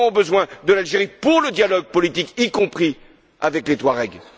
Nous aurons besoin de l'Algérie pour le dialogue politique, y compris avec les Touaregs.